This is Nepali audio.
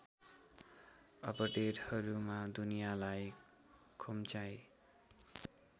अपडेडहरूमा दुनियालाई खुम्चाई